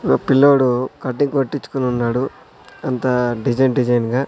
ఓ పిల్లోడు కటింగ్ కొట్టిచుకొనున్నాడు అంతా డిజైన్ డిజైన్ గా --